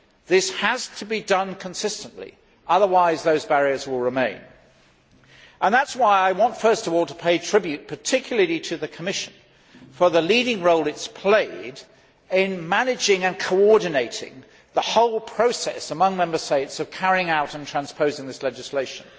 This has to be done consistently. Otherwise, those barriers will remain. That is why I want first of all to pay tribute particularly to the Commission for the leading role it has played in managing and coordinating the whole process among Member States of carrying out and transposing this legislation.